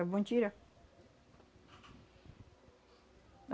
É bom tirar.